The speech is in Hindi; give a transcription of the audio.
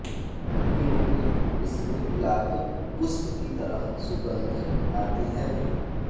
क्योंकि इसमें गुलाब पुष्प की तरह सुगन्ध आती है